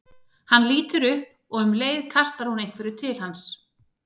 Hann lítur upp og um leið kastar hún einhverju til hans.